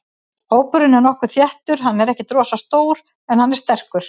Hópurinn er nokkuð þéttur, hann er ekkert rosalega stór en hann er sterkur.